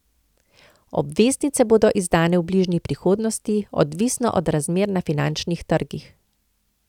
Obveznice bodo izdane v bližnji prihodnosti, odvisno od razmer na finančnih trgih.